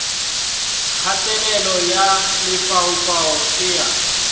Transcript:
kgatelelo ya lefaufau e a